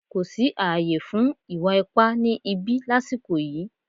Kò sí ààyè fún ìwà ipá ni ìbí lasiko yìí